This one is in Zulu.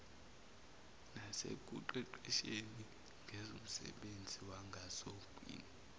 nasekuqeqesheni ngezomsebenzi wangasogwini